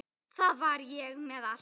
Þar var ég með allt.